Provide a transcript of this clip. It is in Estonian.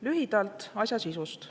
Lühidalt asja sisust.